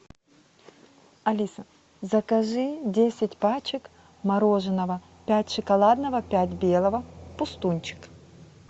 алиса закажи десять пачек мороженого пять шоколадного пять белого пустунчик